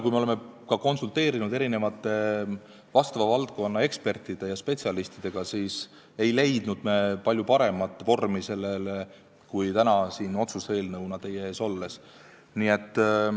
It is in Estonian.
Me oleme konsulteerinud valdkonna ekspertide ja spetsialistidega, aga me ei ole leidnud palju paremat vormi kui see otsuse eelnõu, millega me täna teie ees oleme.